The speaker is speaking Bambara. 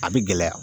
A bɛ gɛlɛya